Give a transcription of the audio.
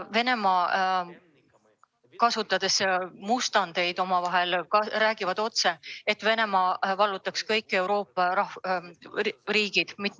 Venemaal räägitakse, et Venemaa vallutama kõik Euroopa riigid.